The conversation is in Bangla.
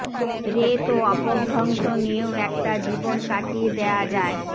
রেত ও অপভ্রংশ নিয়েও একটা জীবন কাটিয়ে দেয়া যায়